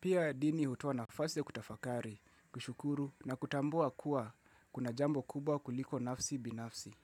Pia dini hutoa na fasi ya kutafakari, kushukuru na kutambua kuwa kuna jambo kubwa kuliko nafsi binafsi.